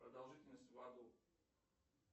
продолжительность в аду